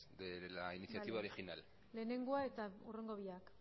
de la iniciativa original bale lehenengoa eta hurrengo biak